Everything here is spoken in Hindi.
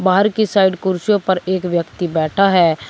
बाहर की साइड कुर्सियों पर एक व्यक्ति बैठा है।